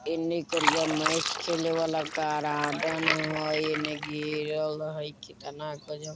ऐने करिया मैच खेले वाला गरार्डन हई एने घेरल हई कितना --